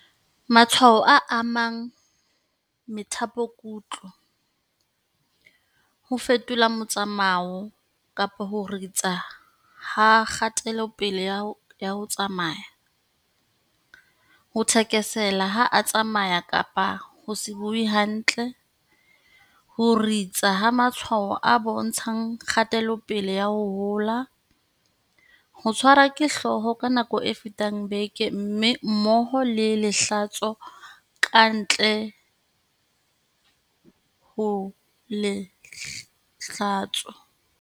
Matshwao a amang methapokutlo, ho fetola motsamao kapa ho ritsa ha kgatelopele ya ho tsamaya, ho thekesela ha a tsamaya kapa ho se bue hantle, ho ritsa ha matshwao a bontshang kgatelopele ya ho hola, ho tshwarwa ke hlooho ka nako e fetang beke mmoho le lehlatso kapa ka ntle ho lehlatso, le hlooho e holang ho feta tekano.